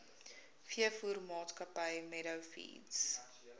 veevoermaatskappy meadow feeds